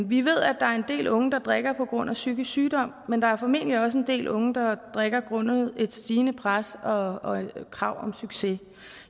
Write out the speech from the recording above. vi ved at der er en del unge der drikker på grund af psykisk sygdom men der er formentlig også en del unge der drikker grundet et stigende pres og krav om succes